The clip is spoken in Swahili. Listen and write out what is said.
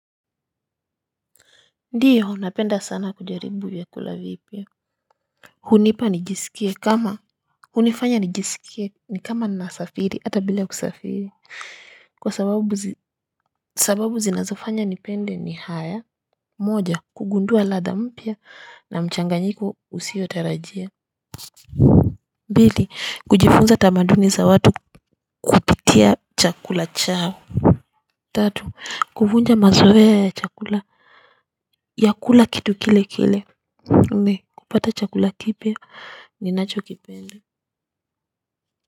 Ndiyo napenda sana kujaribu vyakula vipya. Hunipa nijisikie kama hunifanya nijisikie ni kama nasafiri hata bila kusafiri. Kwa sababu zinazofanya ni pende ni haya moja kugundua ladha mpya na mchanganyiko usio tarajia pili kujifunza tamaduni za watu kupitia chakula chao. Tatu kuvunja mazoea ya chakula vyakula kitu kile kile nne kupata cakula kipya ninachokipenda.